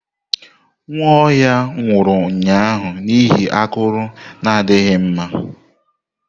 Nwaohia nwuru ụnyahụ n'ihi akụru na adighi mma.